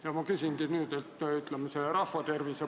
Ja ma küsingi rahva tervise poole pealt lähenedes.